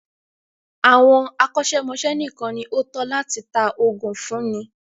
Àwọn akọ́ṣẹ́mọ́ṣẹ́ nìkan ní o tọ́ láti tá oògùn fúnni.